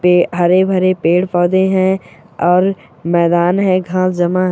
ये हरे - भरे पेड़ - पौधे है और मैदान है घास जमा है।